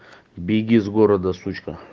беги с города сучка